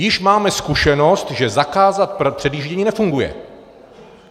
Již máme zkušenost, že zakázat předjíždění nefunguje.